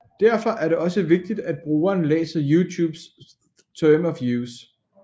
Derfor er det også vigtigt at brugeren læser YouTubes Terms Of Use